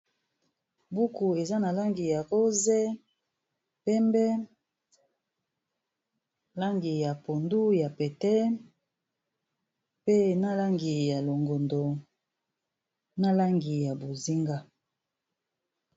Buku eza na langi ya rose, pembe, langi ya pondu ya pete pe na langi ya longondo na langi ya bozinga.